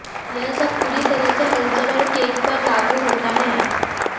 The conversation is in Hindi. यह सब पूरी तरह से हलचल और केक पर लागू होता है